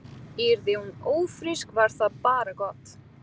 Yrði hún ófrísk var það bara gott.